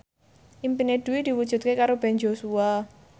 impine Dwi diwujudke karo Ben Joshua